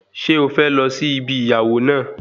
Ṣé o fẹ́ lọ sí ibi ìyàwó náà